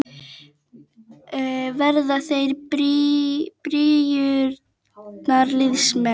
Verða þeir byrjunarliðsmenn?